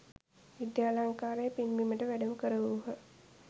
විද්‍යාලංකාර පින්බිමට වැඩම කරවූහ.